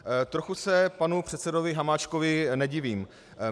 Trochu se panu předsedovi Hamáčkovi nevidím.